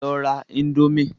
Lọ ra indomie!